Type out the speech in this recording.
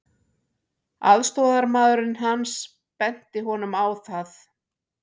Aðstoðarmaðurinn hans benti honum á það.